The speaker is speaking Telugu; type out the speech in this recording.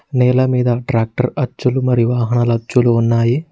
నేల మీద ట్రాక్టర్ అచ్చులు మరివాహనల అచ్చులు ఉన్నాయి.